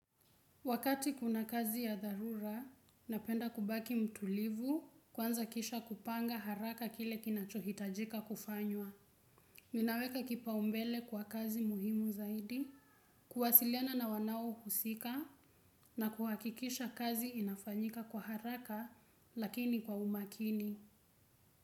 Wakati kuna kazi ya dharura, napenda kubaki mtulivu, kwanza kisha kupanga haraka kile kinachohitajika kufanywa. Ninaweka kipaumbele kwa kazi muhimu zaidi, kuwasiliana na wanaohusika na kuhakikisha kazi inafanyika kwa haraka, lakini kwa umakini.